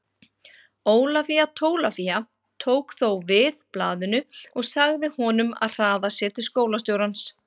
Ólafía Tólafía tók þó við blaðinu og sagði honum að hraða sér til skólastjórans.